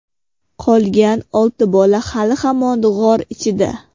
Qolgan olti bola hali hamon g‘or ichida.